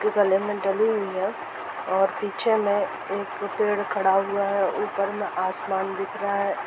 गले डली हुई है। और पीछे में एक पेड़ खड़ा हुआ है। ऊपर में आसमान दिख रहा है।